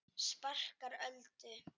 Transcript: Sparkar Öldu.